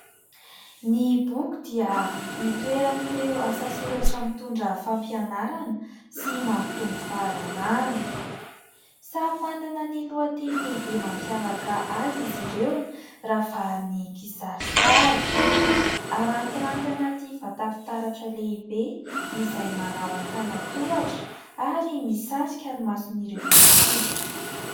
Ny boky dia hitoeran'ireo asa soratra mitondra fampianarana sy mampitombo fahalalana. Samy manana ny lohateny lehibe mampiavaka azy izy ireo, ravahan'ny kisarisary. Harantiranty anaty vata fitaratra lehibe izay manao antanan-tohatra ary misarika ny mason'ireo mpitsidika.